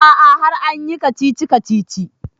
A'a har an yi kacici-kacici